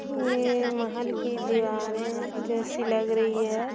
ये महल की दीवारे जैसी लग रही है।